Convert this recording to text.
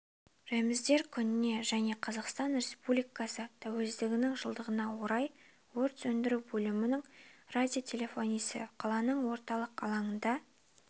рәміздер күніне және қазақстан республикасы тәуелсіздігінің жылдығына орай өрт сөндіру бөлімінің радиотелефонисі қаланың орталық алаңында